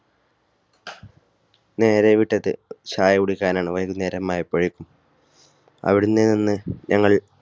നേരെ വിട്ടത് ചായ കുടിക്കാൻ ആണ് വൈകുന്നേരമായപൊഴേക്കും അവിടെ നിന്ന് ഞങ്ങൾ